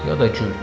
Ya da gül.